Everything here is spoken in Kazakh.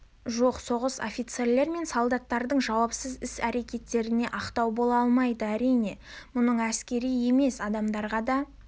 жоқ соғыс офицерлер мен солдаттардың жауапсыз іс-әрекеттеріне ақтау бола алмайды әрине мұның әскери емес адамдарға да